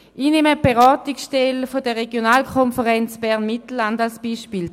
Ich nehme die Beratungsstelle der Regionalkonferenz Bern-Mittelland als Beispiel.